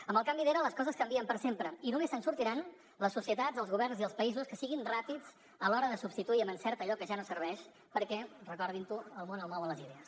amb el canvi d’era les coses canvien per sempre i només se’n sortiran les societats els governs i els països que siguin ràpids a l’hora de substituir amb encert allò que ja no serveix perquè recordin ho el món el mouen les idees